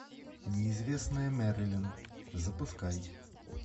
неизвестная мэрилин запускай